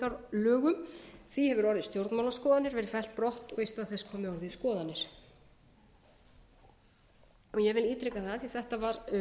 hegningarlögum því hefur orðið stjórnmálaskoðanir verið fellt brott og við skoðanir ég vil ítreka það af því að þetta var